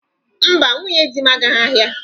Mba, nwunye di m agaghị ahịa.